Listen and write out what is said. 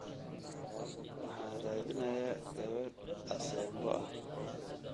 Waxaan raadinayaa gabadh Asembo ah